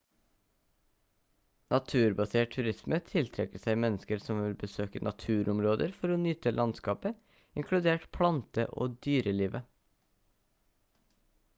naturbasert turisme tiltrekker seg mennesker som vil besøke naturområder for å nyte landskapet inkludert plante- og dyrelivet